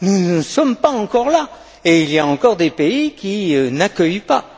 Nous n'en sommes pas encore là et il y a encore des pays qui n'accueillent pas.